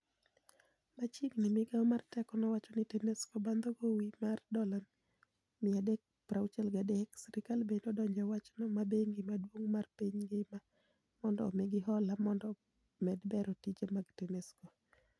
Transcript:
Machiegni migao mar teko nowacho ni Tanesco bandho gowimar dola milioni 363, sirkal bende odonje ewachno ma bengi maduong' mar piny ngima mondo omigi hola mondo omed bero tije mag Tanesco.